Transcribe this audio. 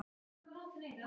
Spyr hvort gæinn sé niðri.